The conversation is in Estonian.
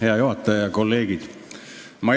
Hea juhataja!